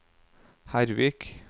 Hervik